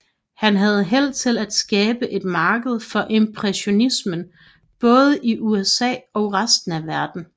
Han havde held til at skabe et marked for impressionismen i både USA og resten af verden